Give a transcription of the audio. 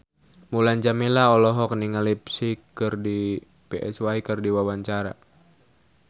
Mulan Jameela olohok ningali Psy keur diwawancara